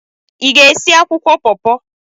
Ị ga-esi akwụkwọ paw-paw?